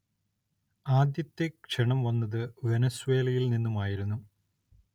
ആദ്യത്തെ ക്ഷണം വന്നത് വെനിസ്വേലയിൽ നിന്നുമായിരുന്നു.